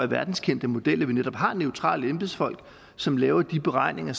verdenskendte model med at vi har neutrale embedsfolk som laver de beregninger